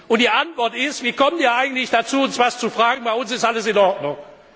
haben. Und die Antwort ist Wie kommt Ihr eigentlich dazu, uns was zu fragen, bei uns ist alles in Ordnung.